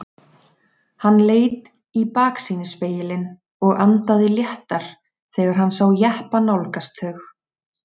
Hann leit í baksýnisspegilinn og andaði léttar þegar hann sá jeppa nálgast þau.